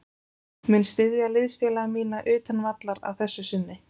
Mun styðja liðsfélaga mína utan vallar að þessu sinni.